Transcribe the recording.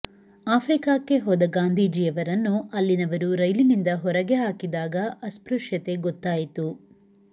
ಆಫ್ರಿಕಾಕ್ಕೆ ಹೋದ ಗಾಂಧೀಜಿಯವರನ್ನು ಅಲ್ಲಿನವರು ರೈಲಿನಿಂದ ಹೊರಗೆ ಹಾಕಿದಾಗ ಅಸ್ಪೃಶ್ಯತೆ ಗೊತ್ತಾಯಿತು